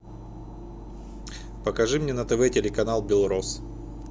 покажи мне на тв телеканал белрос